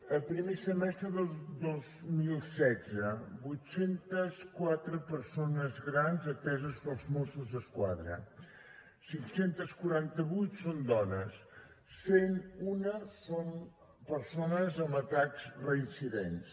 el primer semestre de dos mil setze vuit cents i quatre persones grans ateses pels mossos d’esquadra cinc cents i quaranta vuit són dones cent i un són persones amb atacs reincidents